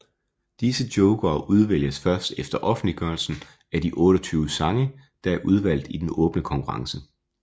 Disse jokere udvælges først efter offentliggørelsen af de 28 sange der er udvalgt i den åbne konkurrence